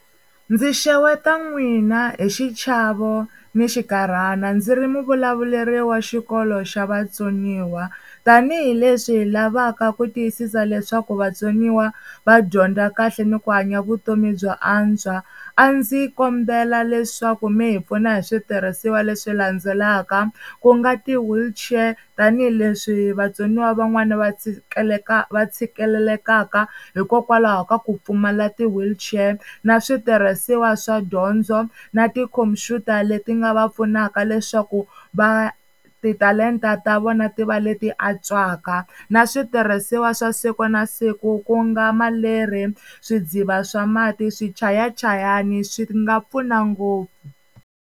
Ndzi xeweta n'wina hi xichavo ni xinkarhana ndzi ri muvulavuleri wa xikolo xa vatsoniwa. Tanihi leswi hi lavaka ku tiyisisa leswaku vatsoniwa va dyondza kahle ni ku hanya vutomi byo antswa, a ndzi kombela leswaku mi hi pfuna hi switirhisiwa leswi landzelaka. Ku nga ti-wheelchair tanihileswi vatsoniwa van'wana va va tshikelelekaka hikokwalaho ka ku pfumala ti-wheelchair, na switirhisiwa swa dyondzo na tikhompyuta leti nga va pfunaka leswaku va titalenta ta vona ti va leti antswaka. Na switirhisiwa swa siku na siku ku nga maleri swidziva swa mati, swichayachayani swi nga pfuna ngopfu.